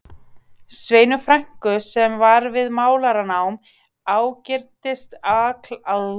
Sveinu frænku sem var við málaranám, ágirntist alklæðnaðinn sem ég hafði látið sauma um vorið.